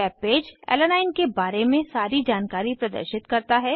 webpage alanine alanine के बारे में सारी जानकारी प्रदर्शित करता है